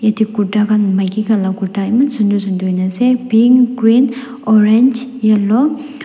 ete kurta khan maiki khan la kurta eman sunder sunder hoi ne ase pink green orange yellow .